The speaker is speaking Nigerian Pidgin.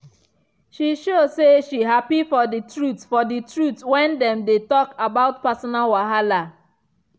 she show say she happy for the truth for the truth when dem dey talk about personal wahala.